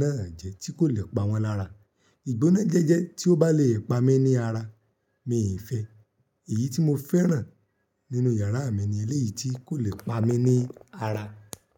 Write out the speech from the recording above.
náà jẹ́, tí kò le pa wọ́n lára. Ìgbónájẹjẹ tí ó bá le pa mi ní ara, mi fẹ́. Èyí tí mo fẹ́ràn nínú yàrá mi ni eléyìí tí kò le pa mi ní ara.